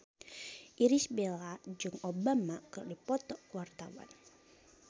Irish Bella jeung Obama keur dipoto ku wartawan